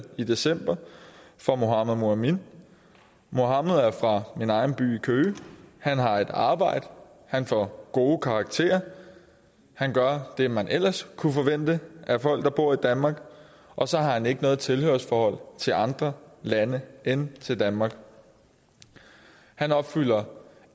i december for mohamad mouamin mohamad er fra min egen by køge han har et arbejde han får gode karakterer han gør det man ellers kunne forvente af folk der bor i danmark og så har han ikke noget tilhørsforhold til andre lande end danmark han opfylder